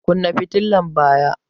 Kunna fitilar baya!